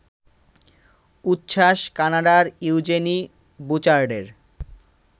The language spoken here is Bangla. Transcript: উচ্ছ্বাস কানাডার ইউজেনি বুচার্ডের